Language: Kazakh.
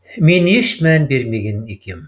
мен еш мән бермеген екен